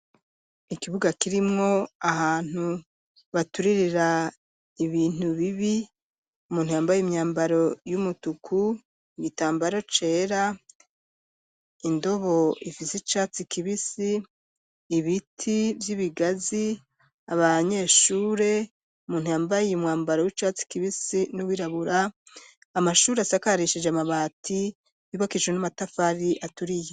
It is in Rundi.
Ikibuga kirimwo ahantu baturirira ibintu bibi umuntu yambaye imyambaro y'umutuku igitambaro cera, indobo ifise icatsi kibisi, ibiti vy'ibigazi, abanyeshure, umuntu yambaye umwambaro w'icatsi kibisi n'uwirabura, amashuri asakarishije amabati yubakishijwe n'amatafari aturiye.